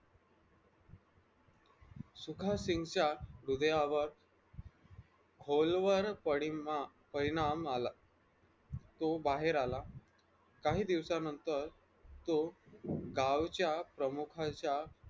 सुखासिन्गच्या हृदयावर खोलवर परिणा परिणाम आला तो बाहेर आला काही दिवसानंतर तो गावच्या प्रमुखाच्या